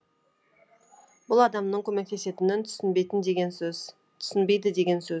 бұл адамның көмектесетінін деген сөз түсінбейді деген сөз